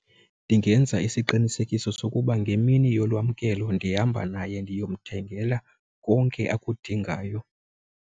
Ndingenza isiqinisekiso sokuba ngemini yolwamkelo ndihamba naye ndiyomthemgela konke akudingayo.